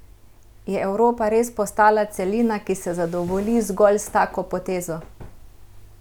Je Evropa res postala celina, ki se zadovolji zgolj s tako potezo?